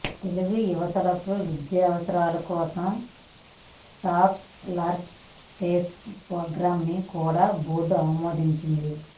తెలుగు యువతకు విద్యావసరాల కోసం స్కాలర్షిప్స్ ప్రోగ్రామ్ని కూడా బోర్డు ఆమోదించింది